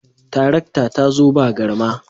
Tarakta ta zo ba garma